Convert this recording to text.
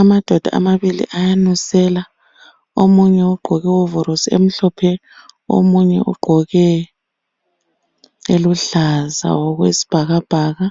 Amadoda amabili ayanusela, omunye ugqoke ihovorosi emhlophe omunye ugqoke eluhlaza okwesibhakabhaka.